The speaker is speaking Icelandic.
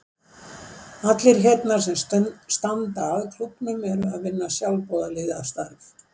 Allir hérna sem standa að klúbbnum eru að vinna sjálfboðaliðastarf.